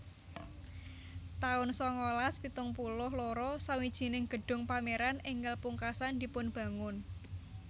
taun sangalas pitung puluh loro Sawijining gedung pameran enggal pungkasan dipunbangun